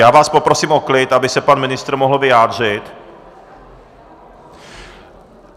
Já vás poprosím o klid, aby se pan ministr mohl vyjádřit.